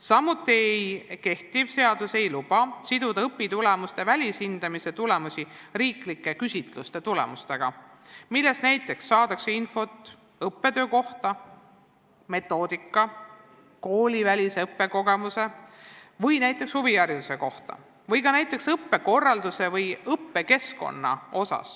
Samuti ei luba kehtiv seadus siduda õpitulemuste välishindamise tulemusi riiklike küsitluste tulemustega, millest saadakse infot näiteks õppetöö, metoodika, koolivälise õppekogemuse ja huvihariduse kohta või ka näiteks õppekorralduse ja õppekeskkonna kohta.